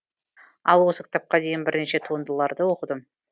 ал осы кітапқа дейін бірнеше туындыларды оқыдым